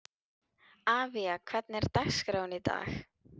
Avía, hvernig er dagskráin í dag?